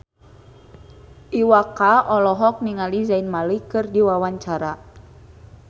Iwa K olohok ningali Zayn Malik keur diwawancara